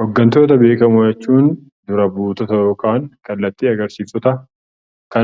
Hooggantoota beekamoo jechuun dura buutota yookaan kallattii agarsiiftota